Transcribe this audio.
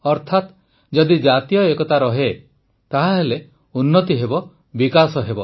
ଅର୍ଥାତ୍ ଯଦି ଜାତୀୟ ଏକତା ରହେ ତାହେଲେ ଉନ୍ନତି ହେବ ବିକାଶ ହେବ